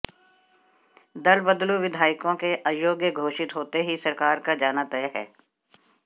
दलबदलु विधायकों के अयोग्य घोषित होते ही सरकार का जाना तय है